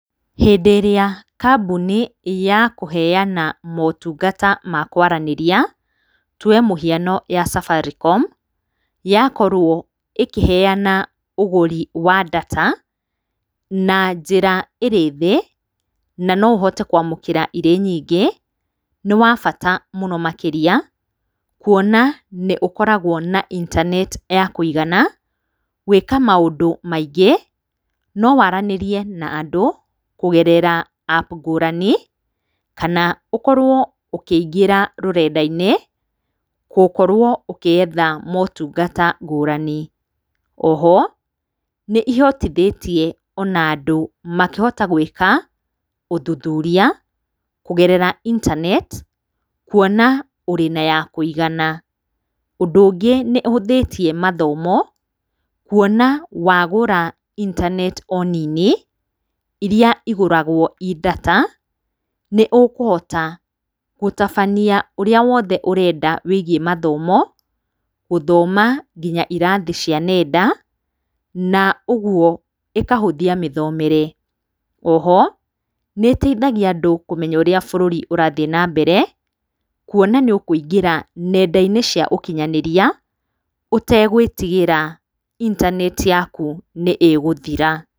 Hĩndĩ ĩrĩa kambuni ya kũheana motungata ma kwaranĩria, tuoe mũhiano ya safaricom yakorwo ĩkĩheana ũgũri wa ndata na njĩra ĩrĩ thĩ na no ũhote kwamũkĩra irĩ nyingĩ, nĩ wa bata mũno makĩria, kuona nĩ ũkoragwo na intaneti ya kũigana gwĩka maũndũ maingĩ, no waranĩrie na andũ kũgerera apu ngũrani, kana ũkorwo ũkĩingĩra rũrenda-inĩ gũkorwo ũgĩetha motungata ngũrani. O ho nĩ ihotithĩtie o na andũ makĩhota gwĩka ũthuthuria kũgerera intaneti, kuona ũrĩ na ya kũigana. Ũndũ ũngĩ nĩ ĩhũthĩtie mathomo, kuona wagũra intaneti o nini iria igũragwo i ndata, nĩ ũkũhota gũtabania ũrĩa wothe ũrenda wĩgiĩ mathomo, gũthoma nginya irathi cia nenda, na ũguo ĩkahũthia mĩthomere. O ho nĩ ĩteithagia andũ kũmenya ũrĩa bũrũri ũrathiĩ na mbere, kuona nĩ ũkũingĩra nenda-inĩ cia ũkinyanĩria ũtegwĩtigĩra intaneti yaku nĩ ĩgũthira.